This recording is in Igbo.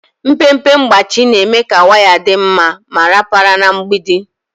Mpempe mgbachi na-eme ka waya dị mma ma rapara na mgbidi.